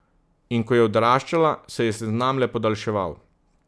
In ko je odraščala, se je seznam le podaljševal.